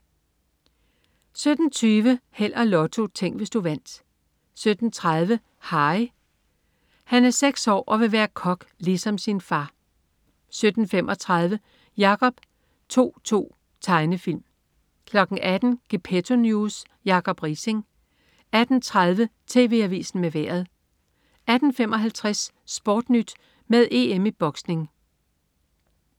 17.20 Held og Lotto. Tænk, hvis du vandt 17.30 Harry. Harry er seks år og vil være kok ligesom sin far 17.35 Jacob To-To. Tegnefilm 18.00 Gepetto News. Jacob Riising 18.30 TV Avisen med Vejret 18.55 SportNyt med EM i boksning